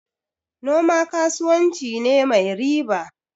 Noma kasuwanci ne mai riba.